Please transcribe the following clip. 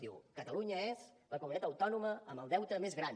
diu catalunya és la comunitat autònoma amb el deute més gran